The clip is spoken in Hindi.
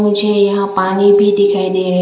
मुझे यहां पानी भी दिखाई दे रही--